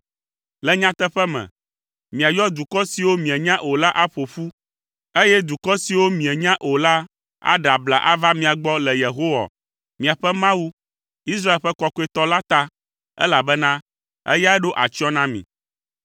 Le nyateƒe me, miayɔ dukɔ siwo mienya o la aƒo ƒu, eye dukɔ siwo mienya o la aɖe abla ava mia gbɔ le Yehowa, miaƒe Mawu, Israel ƒe Kɔkɔetɔ la, ta, elabena eyae ɖo atsyɔ̃ na mi!”